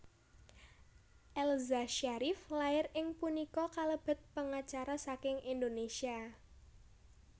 Elza Syarief lair ing punika kalebet pengacara saking Indonesia